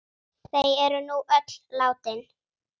Þau eru nú öll látin.